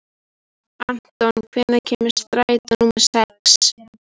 Anton, hvenær kemur strætó númer sex?